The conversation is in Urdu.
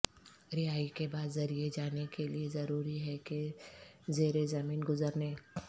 رہائی کے بعد ذریعے جانے کے لئے ضروری ہے کہ زیر زمین گزرنے